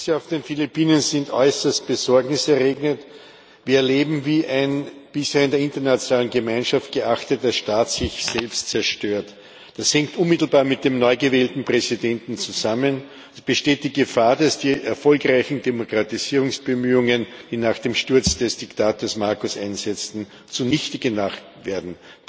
Die Ereignisse auf den Philippinen sind äußerst besorgniserregend. Wir erleben, wie ein bisher in der internationalen Gemeinschaft geachteter Staat sich selbst zerstört. Das hängt unmittelbar mit dem neu gewählten Präsidenten zusammen. Es besteht die Gefahr, dass die erfolgreichen Demokratisierungsbemühungen, die nach dem Sturz des Diktators Marcos einsetzten, zunichte gemacht werden.